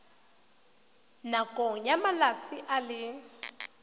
nakong ya malatsi a le